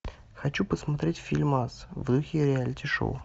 хочу посмотреть фильмас в духе реалити шоу